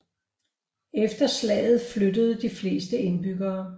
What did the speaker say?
Efter slaget flyttede de fleste indbyggerne